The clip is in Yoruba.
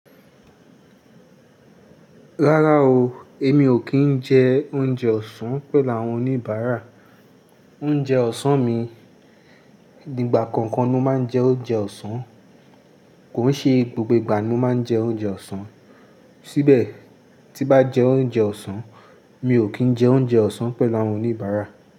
Rárá o, èmi ò kí ń jẹ oúnjẹ ọ̀sán pẹ̀lú àwọn oníbàárà. Oúnjẹ ọ̀sán mi, ígbà kookan ni mo máa ń jẹ oúnjẹ ọ̀sán, kò n ṣe gbogbo ìgbà ni mo máa ń jẹ oúnjẹ ọ̀sán. Síbẹ̀ tí bá jẹ́ oúnjẹ ọ̀sán, mi ò kí ń jẹ oúnjẹ ọ̀sán pẹ̀lú àwọn oníbàárà.